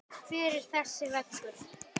Hver er þessi vegur?